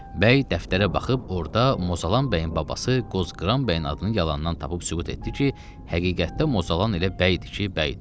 Bəy dəftərə baxıb orda Mozalan bəyin babası Qozqıran bəyin adını yalandan tapıb sübut etdi ki, həqiqətdə Mozalan elə bəydir ki, bəydir.